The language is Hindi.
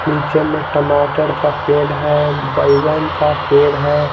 नीचे में टमाटर का पेड़ है बैंगन का पेड़ है।